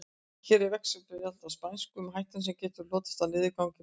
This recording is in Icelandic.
Hér er veggspjald á spænsku um hættuna sem getur hlotist af niðurgangi barna.